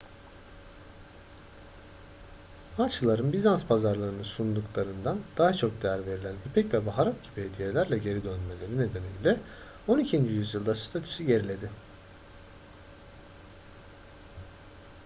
haçlıların bizans pazarlarının sunduklarından daha çok değer verilen ipek ve baharat gibi hediyelerle geri dönmeleri nedeniyle on ikinci yüzyılda statüsü geriledi